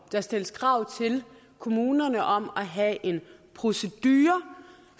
der stilles krav til kommunerne om at have en procedure